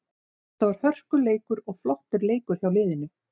Þetta var hörkuleikur og flottur leikur hjá liðinu.